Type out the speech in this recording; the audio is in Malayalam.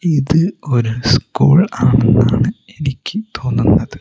ഇത് ഒരു സ്കൂൾ ആണെന്നാണ് എനിക്ക് തോന്നുന്നത്.